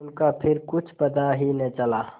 उनका फिर कुछ पता ही न चला